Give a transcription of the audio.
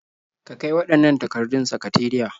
Ka kai waɗannan takardun sakateriya.